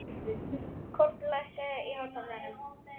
Kort, lækkaðu í hátalaranum.